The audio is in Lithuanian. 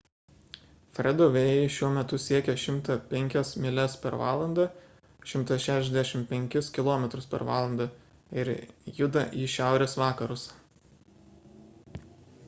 fredo vėjai šiuo metu siekia 105 mylias per valandą 165 km/val. ir juda į šiaurės vakarus